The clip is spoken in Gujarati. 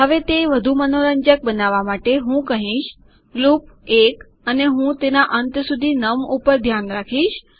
હવે તે વધુ મનોરંજક બનાવવા માટે હું કહીશ લૂપ 1 અને હું તેના અંત સુધી નમ ઉપર ધ્યાન રાખીશ